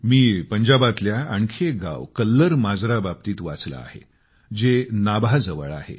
मी पंजाबातल्या आणखी एक गाव कल्लर माजरा बाबतीत वाचले आहे जे नाभाजवळ आहे